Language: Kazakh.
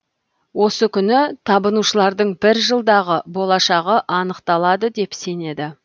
осы күні табынушылардың бір жылдағы болашағы анықталады деп сенеді